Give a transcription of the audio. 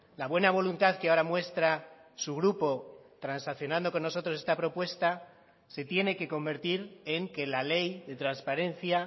la buena voluntad que ahora muestra su grupo transaccionando con nosotros esta propuesta se tiene que convertir en que la ley de transparencia